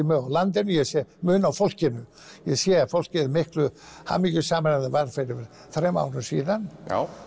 mun á landinu ég sé mun á fólkinu ég sé að fólkið er miklu hamingjusamara en það var fyrir þremur árum síðan